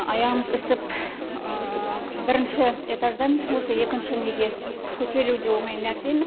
аяғымыз ісіп бірінші этаждан осы екінші неге көтерілу де оңай нәрсе емес